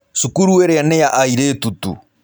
Cukuru ĩrĩa nĩ ya airĩtu tu.